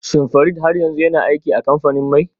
Shin Farid har yanzu yana aiki a kamfanin mai?